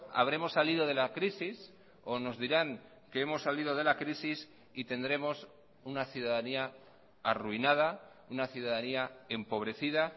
habremos salido de la crisis o nos dirán que hemos salido de la crisis y tendremos una ciudadanía arruinada una ciudadanía empobrecida